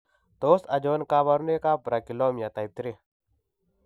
Tos achon kabarunaik ab Brachyolmia type 3 ?